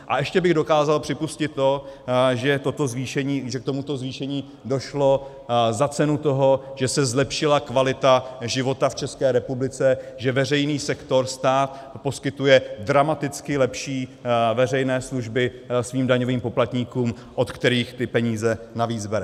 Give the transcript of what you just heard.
A ještě bych dokázal připustit to, že k tomuto zvýšení došlo za cenu toho, že se zlepšila kvalita života v České republice, že veřejný sektor - stát poskytuje dramaticky lepší veřejné služby svým daňovým poplatníkům, od kterých ty peníze navíc bere.